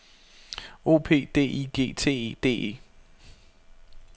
O P D I G T E D E